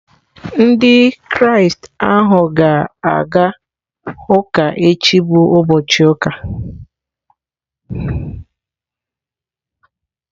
Ndị Kraịst ahụ ga-aga ụka echi bụ ụbọchị ụka.